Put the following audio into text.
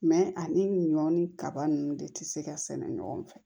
Mɛ ani ɲɔ ni kaba ninnu de tɛ se ka sɛnɛ ɲɔgɔn fɛ